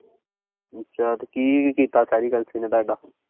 ਅੱਛਾ ਤੇ ਕੀ ਕੀਤਾ ਸੈਰੀ ਕਲਸੀ ਨੇ ਤੁਹਾਡਾ।